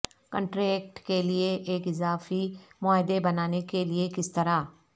contract کے لئے ایک اضافی معاہدے بنانے کے لئے کس طرح